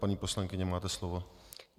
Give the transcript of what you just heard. Paní poslankyně, máte slovo.